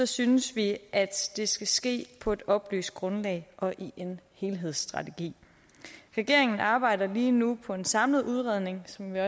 synes vi at det skal ske på et oplyst grundlag og i en helhedsstrategi regeringen arbejder lige nu på en samlet udredning som vi